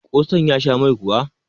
kosan ya Sha Mai kuwa?